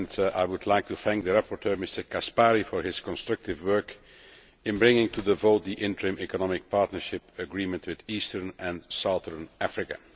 I would like to thank the rapporteur, Mr Caspary, for his constructive work in bringing to the vote the interim Economic Partnership Agreement with Eastern and Southern Africa.